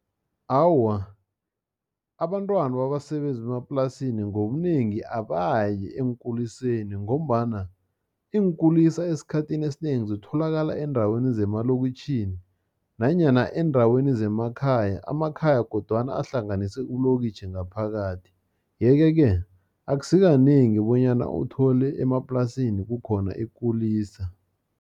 Awa, abantwana babasebenzi bemaplasini, ngobunengi abayi eenkuliseni, ngombana eenkulisa esikhathini esinengi, zitholakala eendaweni zemalokiitjhini, nanyana eendaweni zemakhaya, amakhaya kodwana ahlanganise ilokitjhi ngaphakathi. Yeke-ke, akusikanengi bonyana uthole emaplasini kukhona ikulisa.